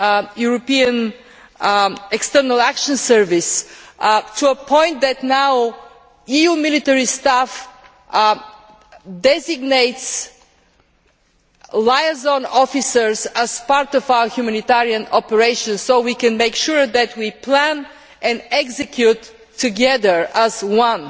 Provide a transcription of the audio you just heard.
European External Action Service to the point that now EU military staff designate liaison officers as part of our humanitarian operation, so we can make sure that we plan and execute together as one.